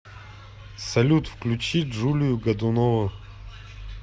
салют включи джулию годунову